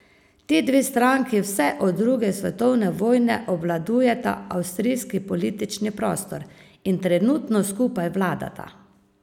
Ti dve stranki vse od druge svetovne vojne obvladujeta avstrijski politični prostor in trenutno skupaj vladata.